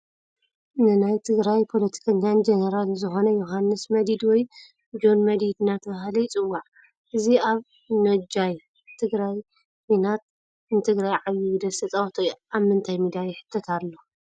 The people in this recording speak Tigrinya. ናነይ ትግራይ ፖለቲከኛን ጀነራልን ዝኮነ ዮሃንስ መዲድ ወይ ጆን መዲድ እናተባሃለ ይፅዋዕ እዚ ኣብ ነጃይ ትግራይ ኩናት ንትግራይ ዓብይ ግደ ዝተፃወተ እዩ ። ኣብ ምንታይ ሚድያ ይሕተት ኣሎ ?